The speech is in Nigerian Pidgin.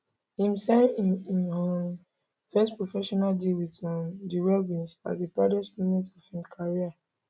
im sign im im um first professional deal wit um di robins as di proudest moment of im career